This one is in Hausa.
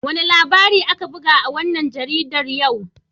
Wane labari aka buga a wannan jaridar yau?